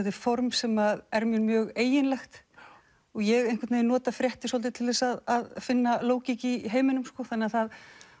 er form sem er mér mjög eiginlegt og ég nota fréttir svolítið til þess að finna lógík í heiminum þannig að